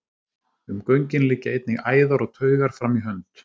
Um göngin liggja einnig æðar og taugar fram í hönd.